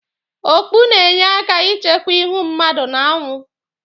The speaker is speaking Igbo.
Okpu na-enye aka ichekwa ịhụ mmadụ n'anwụ.